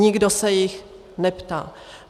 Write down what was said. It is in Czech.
Nikdo se jich neptá.